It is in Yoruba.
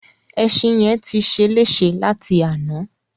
Ẹṣin yẹn ti ṣeléṣe láti àná.